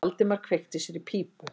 Valdimar kveikti sér í pípu.